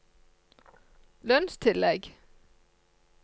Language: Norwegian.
lønnstillegg